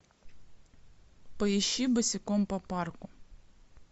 поищи босиком по парку